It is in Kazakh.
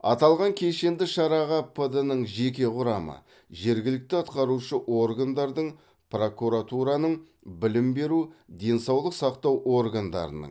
аталған кешенді шараға пд нің жеке құрамы жергілікті атқарушы органдардың прокуратураның білім беру денсаулық сақтау органдарының